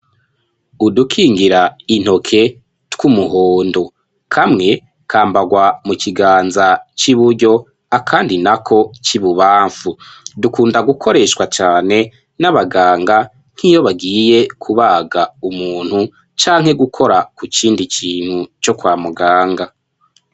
Udukingira intoke tw'umuhondo. Kamwe kambagwa mu kiganza c'iburyo, akandi nako c'ibubamfu. Dukunda gukoreshwa cane n'abaganga nk'iyo bagiye kubaga umuntu canke gukora ku kindi kintu co kwa muganga.